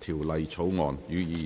條例草案》，予以二讀。